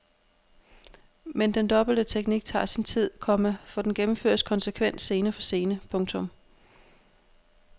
Men den dobbelte teknik tager sin tid, komma for den gennemføres konsekvent scene for scene. punktum